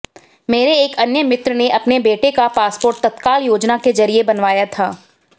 मेरे एक अन्य मित्र ने अपने बेटे का पासपोर्ट तत्काल योजना के जरिये बनवाया था